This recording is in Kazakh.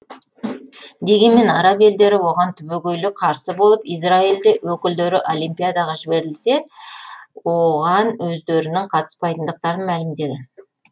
дегенмен араб елдері оған түбегейлі қарсы болып израиль өкілдері олимпиадаға жіберілсе оған өздерінің қатыспайтындықтарын мәлімдеді